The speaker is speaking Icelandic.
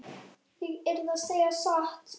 Ég yrði að segja satt.